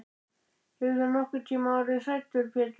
Hefur þú nokkurntíma orðið hræddur Pétur?